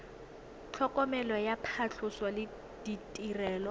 tlhokomelo ya phatlhoso le ditirelo